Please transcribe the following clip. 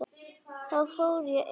Þá fór ég inn.